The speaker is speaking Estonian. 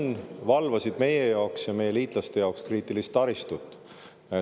Nad valvasid meie jaoks ja meie liitlaste jaoks kriitilist taristut.